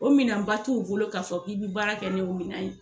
O minan ba t'u bolo k'a fɔ k'i bɛ baara kɛ ni o minan ye.